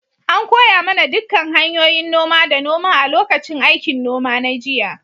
An koya mana dukkan hanyoyin noma da noma a lokacin aikin noma na jiya.